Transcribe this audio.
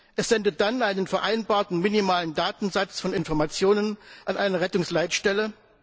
Es sendet dann einen vereinbarten minimalen Datensatz von Informationen an eine Rettungsleitstelle.